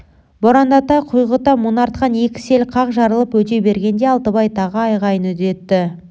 борандата құйғыта мұнартқан екі сел қақ жарылып өте бергенде алтыбай тағы айғайын үдетті